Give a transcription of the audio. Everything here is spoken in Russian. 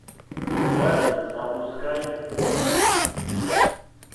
стазис запускай